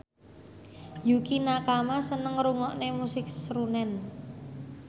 Yukie Nakama seneng ngrungokne musik srunen